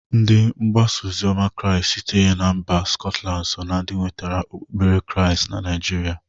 Ndị mgbasa ozioma krịast sitere mba skọtland so ndị nwetara okpukpere krịast na Naijịrịa.